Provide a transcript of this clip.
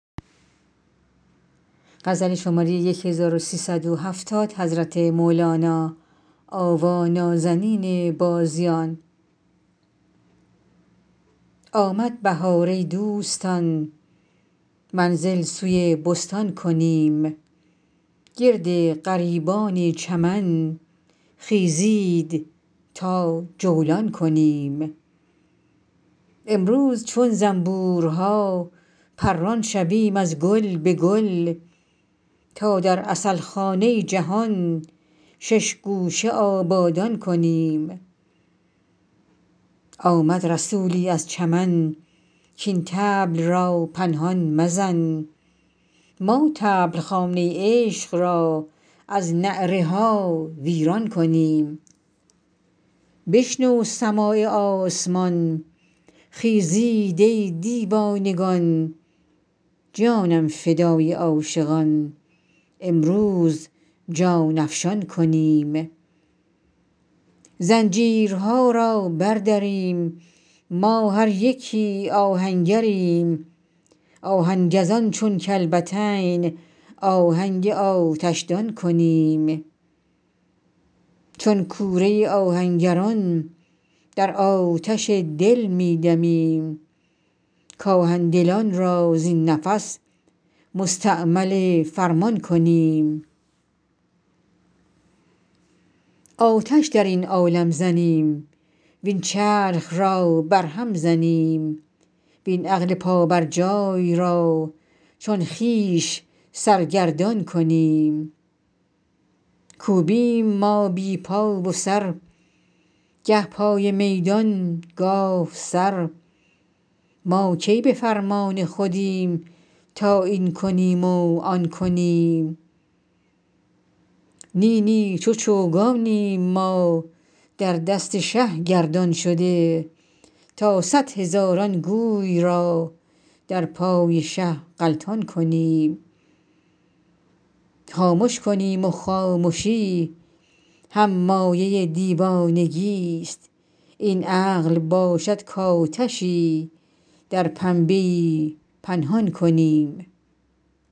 آمد بهار ای دوستان منزل سوی بستان کنیم گرد غریبان چمن خیزید تا جولان کنیم امروز چون زنبورها پران شویم از گل به گل تا در عسل خانه جهان شش گوشه آبادان کنیم آمد رسولی از چمن کاین طبل را پنهان مزن ما طبل خانه عشق را از نعره ها ویران کنیم بشنو سماع آسمان خیزید ای دیوانگان جانم فدای عاشقان امروز جان افشان کنیم زنجیرها را بردریم ما هر یکی آهنگریم آهن گزان چون کلبتین آهنگ آتشدان کنیم چون کوره آهنگران در آتش دل می دمیم کآهن دلان را زین نفس مستعمل فرمان کنیم آتش در این عالم زنیم وین چرخ را برهم زنیم وین عقل پابرجای را چون خویش سرگردان کنیم کوبیم ما بی پا و سر گه پای میدان گاه سر ما کی به فرمان خودیم تا این کنیم و آن کنیم نی نی چو چوگانیم ما در دست شه گردان شده تا صد هزاران گوی را در پای شه غلطان کنیم خامش کنیم و خامشی هم مایه دیوانگیست این عقل باشد کآتشی در پنبه پنهان کنیم